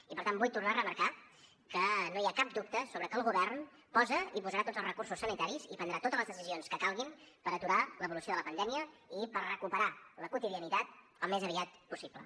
i per tant vull tornar a remarcar que no hi ha cap dubte sobre que el govern posa i posarà tots els recursos sanitaris i prendrà totes les decisions que calguin per aturar l’evolució de la pandèmia i per recuperar la quotidianitat al més aviat possible